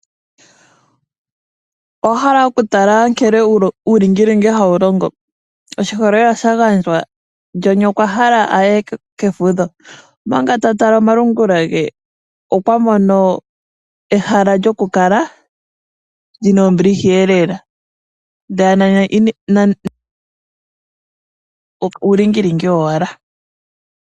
Owahala okutala nkene uulingilingi hawu longo . Oshiholelwa sha gandjwa John okwahala aye kefudho . Omanga ta tala omalungula ge okwamono ehala lyokukala lina ombiliha lela nani uulingilingi wowala.